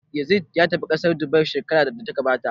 Yazid ya tafi ƙasar Dubai shekarar da ta gabata